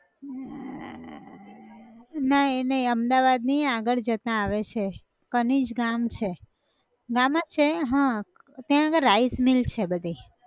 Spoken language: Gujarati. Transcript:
અર ના એ નઈ અમદાવાદ ની આગળ જતાં આવે છે કનીજ ગામ છે ગામ જ છે હાં ત્યાં આગળ rice mill છે બધી